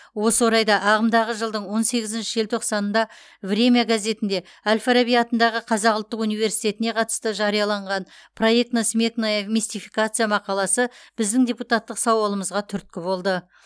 осы орайда ағымдағы жылдың он сегізінші желтоқсанында время газетінде әл фараби атындағы қазақ ұлттық университетіне қатысты жарияланған проектно сметная мистификация мақаласы біздің депутаттық сауалымызға түрткі болды